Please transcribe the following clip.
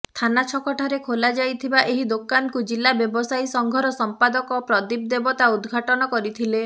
ଥାନା ଛକଠାରେ ଖୋଲାଯାଇଥିବା ଏହି ଦୋକାନକୁ ଜିଲ୍ଲା ବ୍ୟବସାୟୀ ସଂଘର ସମ୍ପାଦକ ପ୍ରଦୀପ ଦେବତା ଉଦଘାଟନ କରିଥିଲେ